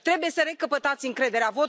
Trebuie să recăpătați încrederea.